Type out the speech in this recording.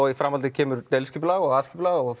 í framhaldi kemur deiliskipulag og aðalskipulag og